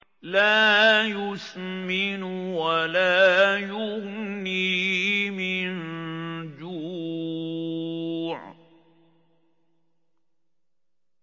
لَّا يُسْمِنُ وَلَا يُغْنِي مِن جُوعٍ